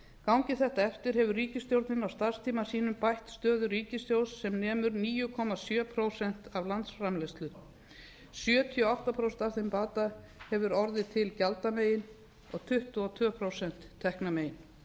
gangi þetta eftir hefur ríkisstjórnin á starfstíma sínum bætt stöðu ríkissjóðs sem nemur níu komma sjö prósent af landsframleiðslu sjötíu og átta prósent af þeim bata hefur orðið til gjaldamegin og tuttugu og tvö prósent teknamegin fram